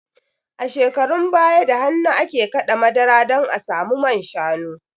A shekarun baya da hannu ake kaɗa madara don a samu manshanu